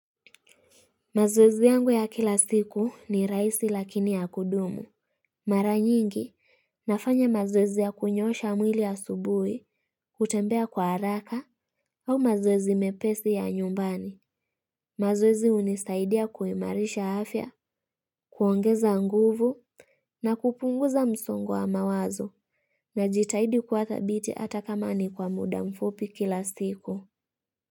Mazoezi yangu ya kila siku ni rahisi lakini ya kudumu Mara nyingi nafanya mazoezi ya kunyosha mwili asubuhi kutembea kwa haraka au mazoezi mepesi ya nyumbani mazoezi hunisaidia kuimarisha afya kuongeza nguvu na kupunguza msongo wa mawazo najitahidi kuwa thabiti hata kama ni kwa mda mfupi kila siku.